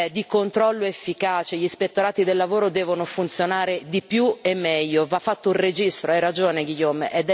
di controllo efficace gli ispettorati del lavoro devono funzionare di più e meglio, va fatto un registro hai ragione Guillaume!